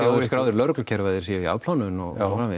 eru skráðir í lögreglukerfið að þeir séu í afplánun og